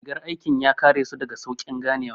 Rigar aikin ya kare su daga sauƙin ganewa